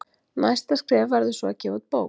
Næsta skref verður svo að gefa út bók.